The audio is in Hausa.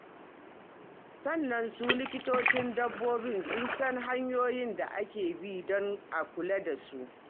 Sannan su likitocin dabbobi, sun san hanyoyin da ake bi don a kula da su.